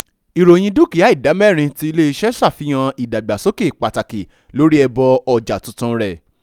ìròyìn dúkìà ìdá mẹ́rin ti ilé-iṣẹ̀ ṣàfihàn ìdàgbàsókè pàtàkì lórí ẹbọ ọja tuntun rẹ